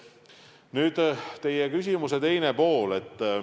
Nüüd teie küsimuse teine pool.